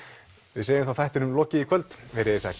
við segjum þá þættinum lokið í kvöld verið þið sæl